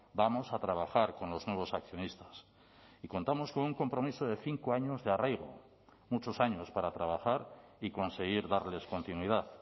vamos a trabajar con los nuevos accionistas y contamos con un compromiso de cinco años de arraigo muchos años para trabajar y conseguir darles continuidad